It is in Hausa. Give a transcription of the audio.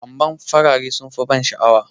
amma farare sun fi ban sha'awa